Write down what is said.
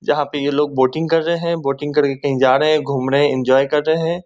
जहाँ पे ये लोग बोटिंग कर रहें हैं। बोटिंग करके कहीं जा रहे हैं घूमने। एन्जॉय कर रहें हैं।